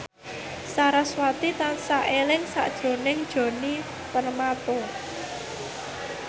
sarasvati tansah eling sakjroning Djoni Permato